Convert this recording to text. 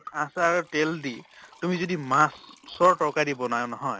আচাৰ তেল দি তুমি যদি মাছৰ তৰকাৰি ব্নোৱা নহয়